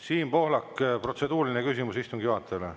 Siim Pohlak, protseduuriline küsimus istungi juhatajale.